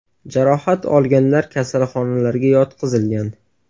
Jarohat olganlar kasalxonalarga yotqizilgan.